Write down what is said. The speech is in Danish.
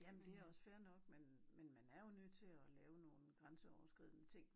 Jamen det også fair nok men men man er jo nødt til at lave nogen grænseoverskridende ting